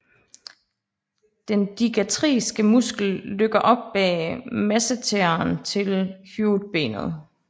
Den digastriske muskel løkker op bag masseteren til hyoidbenet